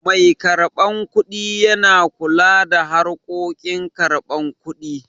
Mai karɓan kuɗi yana kula da harkokin karban kuɗi